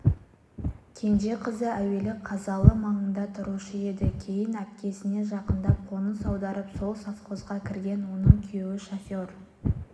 кенже қызы әуелі қазалы маңында тұрушы еді кейін әпкесіне жақындап қоныс аударып сол совхозға кірген оның күйеуі шофер